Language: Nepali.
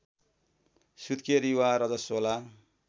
सुत्केरी वा रजस्वला